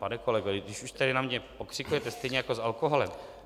Pane kolego, když už tady na mě pokřikujete "stejně jako s alkoholem".